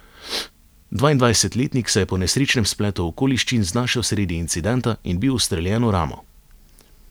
Dvaindvajsetletnik se je po nesrečnem spletu okoliščin znašel sredi incidenta in bil ustreljen v ramo.